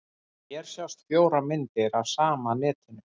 Hér sjást fjórar myndir af sama netinu.